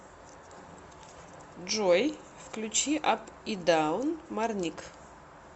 джой включи ап и даун марник